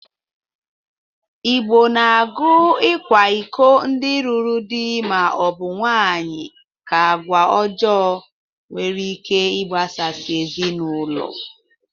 Igbo na-agụ ịkwa iko ndị lụrụ dị ma ọ bụ nwaanyị ka agwa ọjọọ nwere ike ịgbasasị ezinaụlọ.